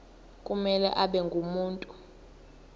kumele abe ngumuntu